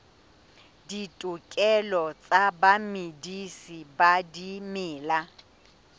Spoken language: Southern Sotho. ditokelo tsa bamedisi ba dimela